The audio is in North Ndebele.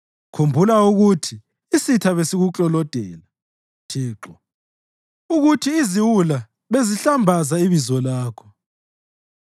Khumbula ukuthi isitha besikuklolodela, Thixo, ukuthi iziwula bezihlambaza ibizo lakho.